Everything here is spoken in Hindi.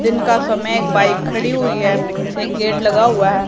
दिन का समय एक बाइक खड़ी हुई हैं एक गेट लगा हुआ हैं।